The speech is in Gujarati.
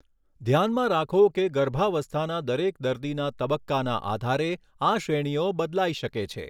ધ્યાનમાં રાખો કે ગર્ભાવસ્થાના દરેક દર્દીના તબક્કાના આધારે આ શ્રેણીઓ બદલાઈ શકે છે.